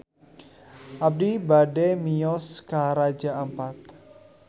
Abi bade mios ka Raja Ampat